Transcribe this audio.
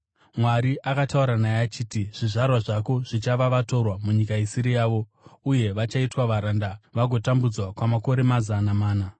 Mwari akataura naye achiti, ‘Zvizvarwa zvako zvichava vatorwa munyika isiri yavo, uye vachaitwa varanda vagotambudzwa kwamakore mazana mana.